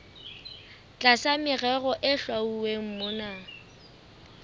tlasa merero e hlwauweng mona